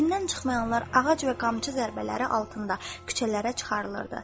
Evindən çıxmayanlar ağac və qamçı zərbələri altında küçələrə çıxarılırdı.